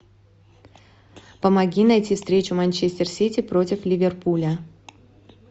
помоги найти встречу манчестер сити против ливерпуля